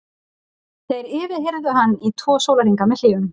Þeir yfirheyrðu hann í tvo sólarhringa með hléum.